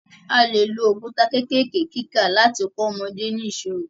A lè lo òkúta kékèké kíkà láti kọ́ ọmọdé ní ìṣirò.